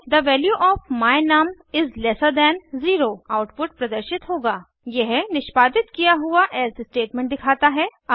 थे value of my num is lesser than 0 output प्रदर्शित होगा यह निष्पादित किया हुआ एल्से स्टेटमेंट दिखाता है